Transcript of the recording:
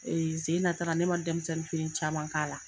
zen in na tara ne man denmisɛnnin fini caman k'a la.